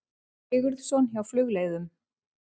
Sigurðsson hjá Flugleiðum.